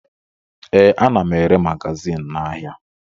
Ee, ana m ere magazin n'ahịa